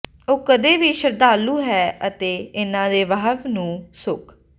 ਉਹ ਕਦੇ ਵੀ ਸ਼ਰਧਾਲੂ ਹੈ ਅਤੇ ਇੰਨਾ ਦੇ ਵਹਾਅ ਨੂੰ ਸੁੱਕ